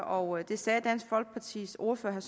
og det sagde dansk folkepartis ordfører